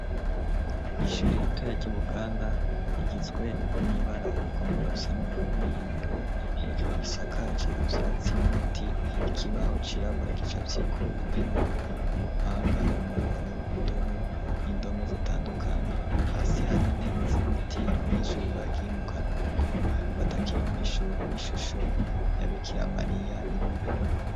Ishuri ritore ry'ibuganda rigizwe n'ibara rigomba gusa n'ubururu, imbere hejuru gisakaje ivyatsi n'ibiti, kibaho cirabura gicafyeko :intebe ,umupanga, umuboro indobo, n'indome zitandukanye ,hasi hari intebe z'ibiti, abanyeshuri bagiye mu karuhuko batakiri mw' ishuri ,n'ishusho yabikiramariya iri mbere.